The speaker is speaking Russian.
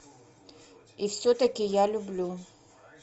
и все таки я люблю